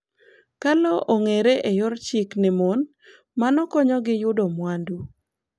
Ka lowo ong'ere e yor chik ne mon, mano konyogi yudo mwandu.